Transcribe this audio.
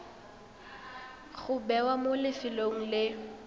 go bewa mo lefelong le